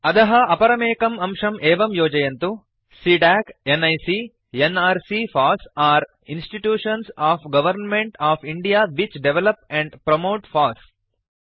अधः अपरमेकम् अंशं एवं योजयन्तु CDAC NIC nrc FOSS are institutions of government of India which develop and promote FOSS